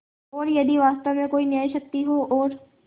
और यदि वास्तव में कोई न्यायशक्ति हो और